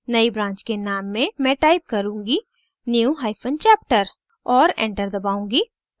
नई branch के name में मैं type करुँगी newchapter और enter दबाउंगी